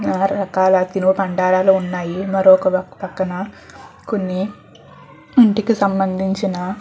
తినుబందరాళ్ళు ఉన్నాయి మరొక పక్కన కొన్ని ఇంటికి సంబంధించిన --